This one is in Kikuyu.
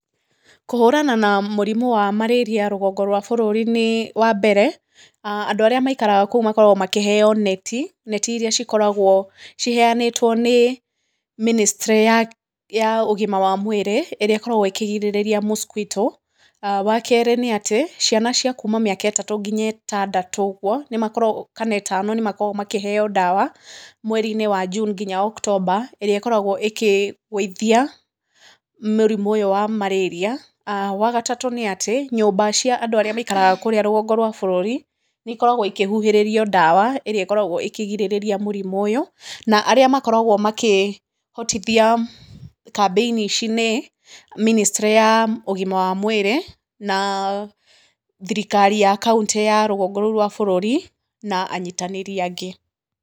Kũhũrana na mũrimũ wa marĩria rũgongo rwa bũrũri nĩ wa mbere, andũ arĩa maikaraga kũu makoragawo makĩheo neti, neti iria cikoragwo ciheanĩtwo nĩ mĩnĩstrĩ ya ũgima wa mwĩrĩ ĩrĩa ĩkoragwo ĩkĩgirĩrĩria mosquito, wa kerĩ nĩ atĩ, ciana cia kuuma mĩaka ĩtatũ nginya ĩtandatũ ũguo ka ĩtano nĩ makoragwo makĩheo ndawa mweri-inĩ wa June nginya October, ĩrĩa ĩkoragwo ĩkĩgũithia mũrĩmu ũyu wa marĩria, wa gatatu nĩ atĩ, nyũmba cia andũ arĩa maikaraga kũũrĩa rũgongo rwa bũrũri, nĩ ikoragwo ikĩhuhĩrĩrio ndawa ĩrĩa ikoragwo ĩkĩgirĩrĩrĩa mũrimũ ũyũ, Na arĩa makoragwo makĩhotithia kaamĩini ici nĩ mĩnĩstrĩ ya ũgima wa mwĩrĩ, na thirikari ya kauntĩ ya rugongo rũu rwa bũrũri, na anyitanĩri angĩ.